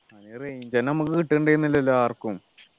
അതിനു range ഒന്നും നമുക്ക് കിട്ടുന്നുണ്ടായിരുന്നില്ലല്ലോ ആർക്കും